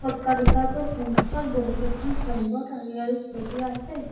অট্টালিকাটোৰ সন্মুখত বহুকেইখন চাইনবোৰ্ড আঁৰি আঁৰি থৈ দিয়া আছে।